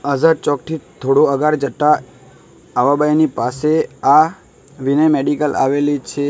આઝાદ ચોક થી થોડું આગળ જતા આવાબાઇની પાસે આ વિનય મેડિકલ આવેલી છે.